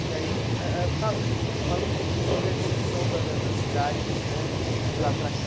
E aí, eh eh fa falando um pouquinho sobre a evolução da da da cidade né ãh de lá para cá.